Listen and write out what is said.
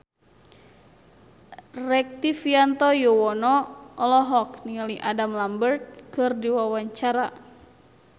Rektivianto Yoewono olohok ningali Adam Lambert keur diwawancara